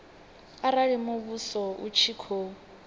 arali muvhuso u tshi khou